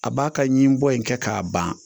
A b'a ka ɲi bɔ in kɛ k'a ban